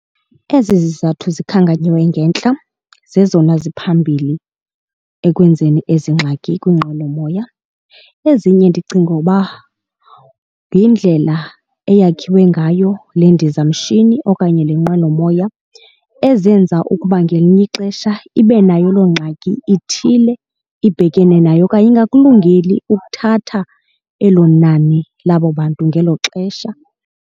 Ezi zizathu zikhankanywe ngentla zezona ziphambili ekwenzeni ezi ngxaki kwiinqwelomoya. Ezinye ndicinga uba yindlela eyakhiwa ngayo le ndizamshini okanye le nqwelomoya ezenza ukuba ngelinye ixesha ibe nayo loo ngxaki ithile ibhekene nayo okanye ungakulungeli ukuthatha elo nani labo bantu ngelo xesha.